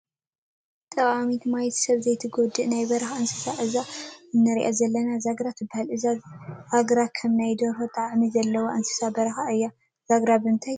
ጠቃሚት ማይት ሰብ ዘይትጎድእ ናይ በረካ እንስሳ እዛ እንሪኣ ዘለና ዛግራ ትበሃል። ዛግራ ከም ናይ ደርሆ ጣዕሚ ዘለዋ እንስሳ በረካ እያ። ዛግራ ብምንታይ ትተሓዝ ?